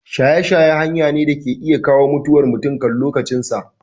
Shaye shaye hanya ne da ke iya kawo mutuwar mutum kan lokacin sa